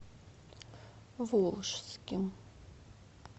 волжским